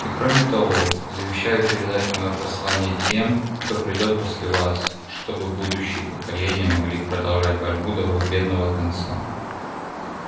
и кроме того завещаю передать моё послание тем кто придёт после вас чтобы будущие поколения могли продолжать борьбу до победного конца